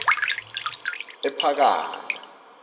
ephakani